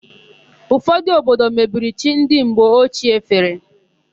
Ụfodụ obodo mebiri chi ndị mgbe ochie fere.